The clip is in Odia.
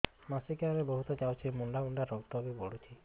ମାସିକିଆ ରେ ବହୁତ ଯାଉଛି ମୁଣ୍ଡା ମୁଣ୍ଡା ରକ୍ତ ବି ପଡୁଛି